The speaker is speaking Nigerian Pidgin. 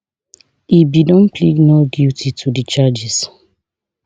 e bin don plead not guilty to di charges